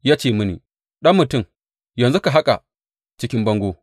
Ya ce mini, Ɗan mutum, yanzu ka haƙa cikin bangon.